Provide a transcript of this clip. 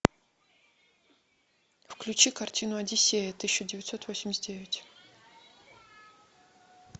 включи картину одиссея тысяча девятьсот восемьдесят девять